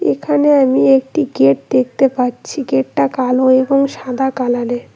এখানে আমি একটি গেট দেখতে পাচ্ছি গেটটা কালো এবং সাদা কালারে।